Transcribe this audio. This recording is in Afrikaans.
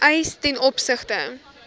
eis ten opsigte